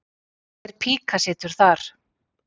Hver píka situr þar?